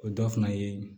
O dɔ fana ye